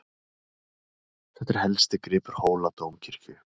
Þetta er helsti gripur Hóladómkirkju.